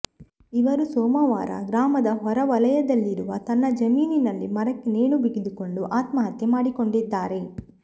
ಇವರು ಸೋಮವಾರ ಗ್ರಾಮದ ಹೊರವಲಯದಲ್ಲಿರುವ ತನ್ನ ಜಮೀನಿನಲ್ಲಿ ಮರಕ್ಕೆ ನೇಣು ಬಿಗಿದುಕೊಂಡು ಆತ್ಮಹತ್ಯೆ ಮಾಡಿಕೊಂಡಿದ್ದಾರೆ